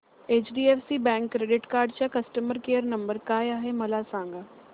HDFC bank credit card चा customer care number काय आहे मला सांगा